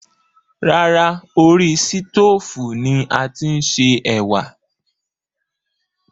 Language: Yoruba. Rárá, orí sítoòfù ni a ti ń se ẹ̀wà